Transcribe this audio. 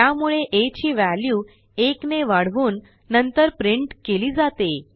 त्यामुळे आ ची व्हॅल्यू 1 ने वाढवून नंतर printकेली जाते